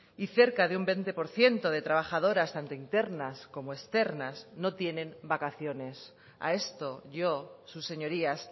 y cerca de un veinte por ciento de trabajadoras tanto internas como externas no tienen vacaciones a esto yo sus señorías